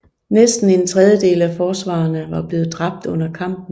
Næsten en tredjedel af forsvarerne var blevet dræbt under kampen